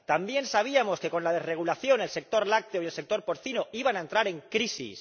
También sabíamos que, con la desregulación, el sector lácteo y el sector porcino iban a entrar en crisis.